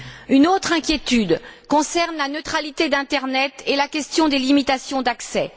Une autre inquiétude concerne la neutralité de l'internet et la question des limitations d'accès.